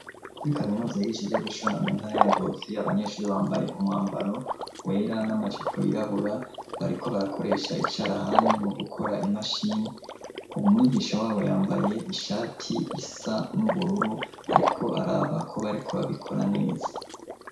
Kuri kaminuza yigisha ivyo gushona mu ntara ya Ngozi, abanyeshuri bambaye umwambaro wera n'amajipo yirabura, bariko barakoresha icarahani, mu gukora imashini, ubu mwigisho wabo yambaye ishati isa n'ubururu ariko araba ko bariko babikora neza.